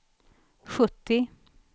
sjuttio